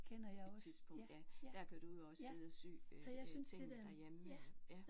Et tidspunkt ja. Der kan du jo også sidde og sy øh tingene derhjemme ja